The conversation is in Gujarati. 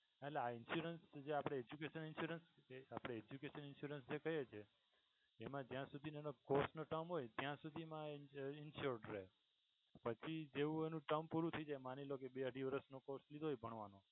આ insurance લીધા education insurance આપણે education insurance જે કહીએ છીએ મા જ્યાં સુધી એનો course નો term હોય ત્યાં સુધી મા insuraed રહે પછી જેવુ એનું term પૂરું થઈ જાય માની લો કે બે અઢી વર્ષનો કોર્સ લીધો હોય ભણવાનો